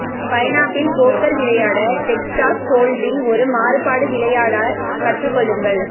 pineapple poker விளையாட Texas hold'em ஒரு மாறுபாடு விளையாட கற்றுக்கொள்ளுங்கள்